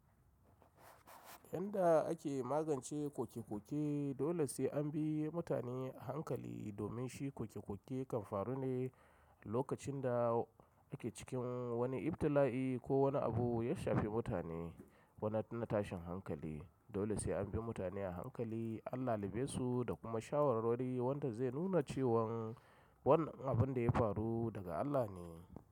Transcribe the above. Yanda ake magance koke-koke, dole sai an bi mutane a hankali, domin shi koke-koke kan faru ne lokacin da ake cikin wani ibtila'i ko wani abu ya shafi mutane. Wani na tashin hankali, Dole sai an bi mutane a hankali, an lalubesu da kuma shawarwari, wanda zai nuna cewan wannan abun da ya faru daga Allah ne.